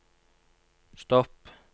stopp